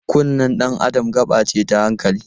Kunnen dan Adam gaɓa ce na hankali.